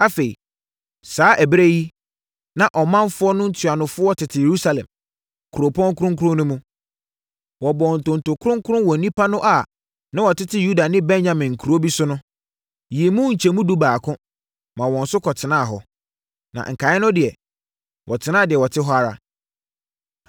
Afei, saa ɛberɛ yi, na ɔmanfoɔ no ntuanofoɔ tete Yerusalem, kuropɔn kronkron no mu. Wɔbɔɔ ntonto kronkron wɔ nnipa no a na wɔtete Yuda ne Benyamin nkuro bi no so, yii mu nkyɛmu edu mu baako, ma wɔn nso kɔtenaa hɔ. Na nkaeɛ no deɛ, wɔtenaa deɛ wɔte hɔ ara.